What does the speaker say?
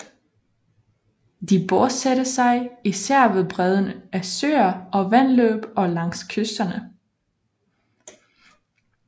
De bosatte sig især ved bredden af søer og vandløb og langs kysterne